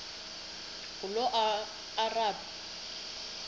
ngulomarabu